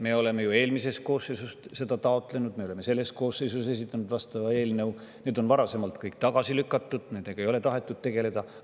Me oleme ju eelmise koosseisu ajal seda taotlenud ja me oleme selle koosseisu ajal esitanud selleks vastava eelnõu, kuid varasemalt on kõik tagasi lükatud, nendega ei ole tahetud tegeleda.